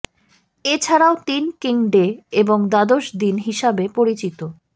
এছাড়াও তিন king day এবং দ্বাদশ দিন হিসাবে পরিচিত